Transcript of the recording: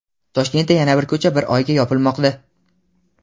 Toshkentda yana bir ko‘cha bir oyga yopilmoqda.